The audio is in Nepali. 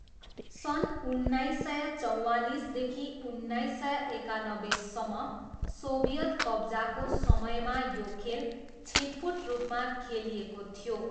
सन् उन्नाइस सय चौँवालिसदेखि उन्नाइस सय एकानब्बेसम्म सोभियत कब्जाको समयमा यो खेल छिटपुट रूपमा खेलिएको थियो।